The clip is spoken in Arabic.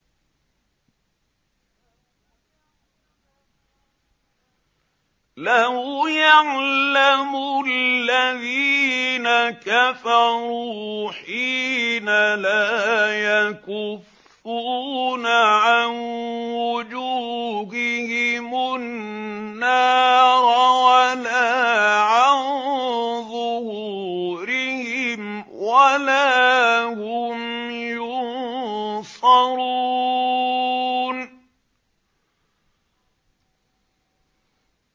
لَوْ يَعْلَمُ الَّذِينَ كَفَرُوا حِينَ لَا يَكُفُّونَ عَن وُجُوهِهِمُ النَّارَ وَلَا عَن ظُهُورِهِمْ وَلَا هُمْ يُنصَرُونَ